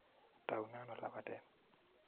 Taune ano lapatet?